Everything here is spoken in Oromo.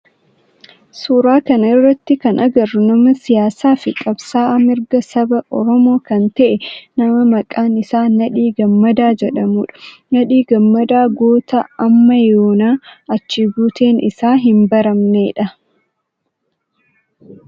Suuraa kana irratti kan agarru nama siyaasaa fi qabsa'aa mirga saba oromoo kan ta'e nama maqaan isaa Nadhii Gammadaa jedhamudha. Nadhii Gammadaa goota amma yoonaa achi buuteen isaa hin baramneedha.